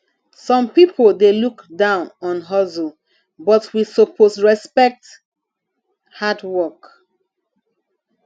some pipo dey look down on hustle but we suppose respect hard work